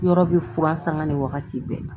Yɔrɔ bɛ fura sanga ni wagati bɛɛ